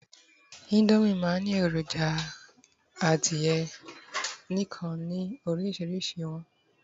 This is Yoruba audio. Indomie ma n Ni eroja adìye nìkan ni orísirísi iwọn